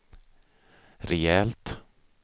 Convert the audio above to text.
rejält